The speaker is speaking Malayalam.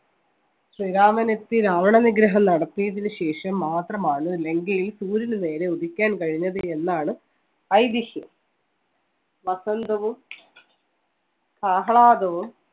ശ്രീരാമൻ എത്തി രാവണ വിഗ്രഹം നടത്തിയതിനു ശേഷം മാത്രമാണ് ലങ്കയിൽ സൂര്യന് നേരെ ഉദിക്കാൻ കഴിഞ്ഞത് എന്നാണ് ഐതിഹ്യം വസന്തവും ആഹ്ലാദവും